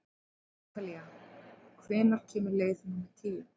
Atalía, hvenær kemur leið númer tíu?